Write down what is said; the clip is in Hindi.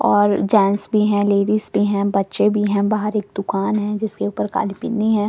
और जेंट्स भी है लेडीज भी है बच्चे भी है और बाहर एक दुकान भी है जिसके ऊपर काली पन्नी है और।